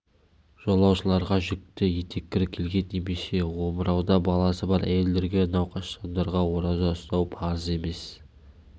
жолаушыларға жүкті етеккірі келген немесе омырауда баласы бар әйелдерге науқас жандарға ораза ұстау парыз емес